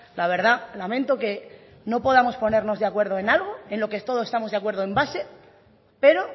la verdad lamento que no podamos ponernos de acuerdo en algo en lo que todos estamos de acuerdo en base pero